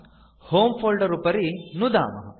होमे फोल्डर उपरि नुदामः